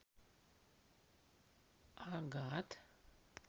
агат